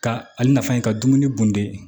Ka ale nafa ye ka dumuni bunde